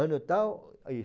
Ano tal, isso.